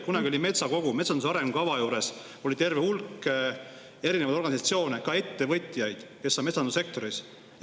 Kunagi oli meil metsakogu: metsanduse arengukava koostamisel oli terve hulk erinevaid organisatsioone, ka ettevõtjaid, kes on metsandussektoris.